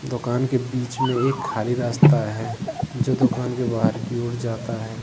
दुकान के बीच में एक खाली रास्ता है जो दुकान की बाहर की ओर जाता है।